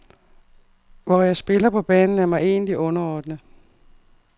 Hvor jeg spiller på banen, er mig egentlig underordnet.